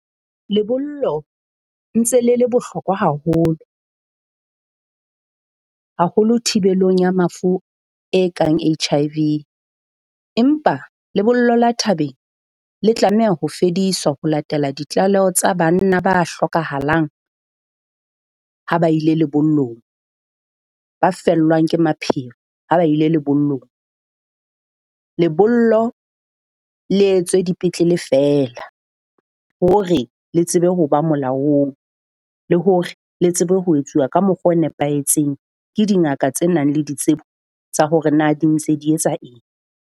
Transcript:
Lebollo ntse le le bohlokwa haholo, haholo thibelong ya mafu e kang H_I_V, empa lebollo la thabeng le tlameha ho fediswa ho latela ditlaleho tsa banna ba hlokahalang ha ba ile lebollong, ba fellwa ke mapheo ha ba ile lebollong. Lebollo le etswe dipetlele feela hore le tsebe ho ba molaong, le hore le tsebe ho etsuwa ka mokgwa o nepahetseng ke dingaka tse nang le ditsebo tsa hore na di ntse di etsa eng.